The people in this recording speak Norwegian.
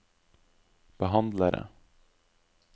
behandlere